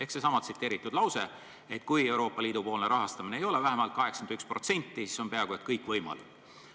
Seesama tsiteeritud lause ütleb ju, et kui Euroopa Liidu poolne rahastamine ei ole vähemalt 81%, siis on peaaegu kõik võimalik.